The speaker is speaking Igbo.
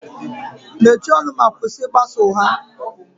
Mechie ọnụ ma kwụsị ịgbasa ụgha